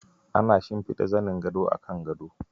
Ana shimfiɗa zanin gado akan gado.